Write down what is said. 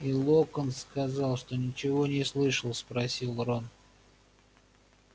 и локонс сказал что ничего не слышал спросил рон